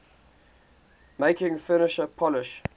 making furniture polish